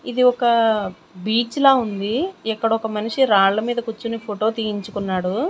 ఇది ఒక బీచ్ లా ఉంది ఇక్కడొక మనిషి రాళ్ళ మీద కుచ్చుని ఫోటో తీయించుకున్నాడు.